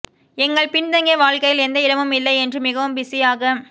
எங்கள் பின்தங்கிய வாழ்க்கையில் எந்த இடமும் இல்லை என்று மிகவும் பிஸியாக